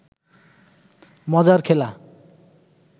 মজার খেলা